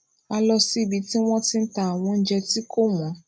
a lọ síbi tí wón ti n ta àwọn oúnjẹ tí kò wón